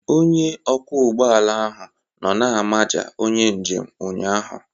Onye ọkwọ ụgbọ ala ahụ nọ na-amaja onye njem ụnyahụ